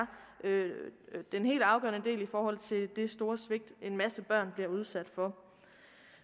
den helt afgørende del i forhold til det store svigt en masse børn bliver udsat for